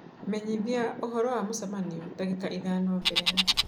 menyithia ũhoro wa mũcemanio dagĩka ithano mbere ya .